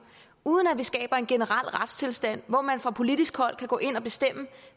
uden at vi skaber en generel retstilstand hvor man fra politisk hold kan gå ind og bestemme